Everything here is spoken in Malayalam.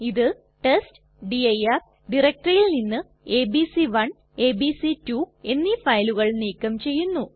ഇത് ടെസ്റ്റ്ഡിർ ഡയറക്ടറിയിൽ നിന്ന് എബിസി1 എബിസി2 എന്നീ ഫയലുകൾ നീക്കം ചെയ്യുന്നു